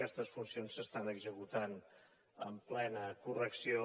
aquestes funcions s’estan executant amb plena correcció